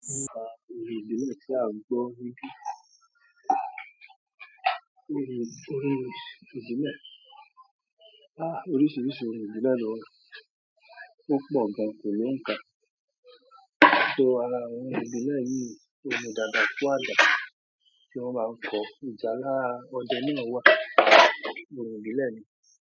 Ka ọ̀rin ìbílẹ̀ ti a un gbọ́ níbí. Òrò ìbílẹ̀? Àá oríṣiríṣi òrò ìbílẹ̀ ló wà. Ò pọọr gààn, kò lò ń kà, so àrà àwọn òrò ìbìlẹ òùn nì dààdàà kù àdà tì wọn màà ń kọ, ìjàlà òdẹ nàà wàà, òrò ìbìlẹ nì.